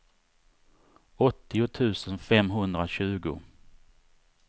åttio tusen femhundratjugo